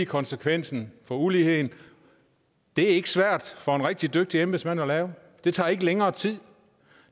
konsekvensen for uligheden det er ikke svært for en rigtig dygtig embedsmand at lave det tager ikke længere tid